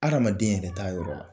Hadamaden yɛrɛ t'a yɔrɔ la.